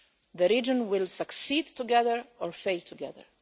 The region will succeed together or fail together.